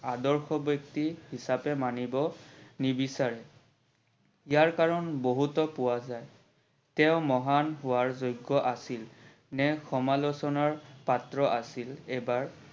আদৰ্শ ব্যক্তি হিচাপে মানিব নিবিচাৰে ।ইয়াৰ কাৰন বহুতত পোৱা যায় তেওৰ মহান হোৱাৰ যোগ্য আছিল নে সমালোচনাৰ পাত্ৰ আছিল এইবাৰ